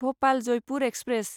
Bhopal Jaipur express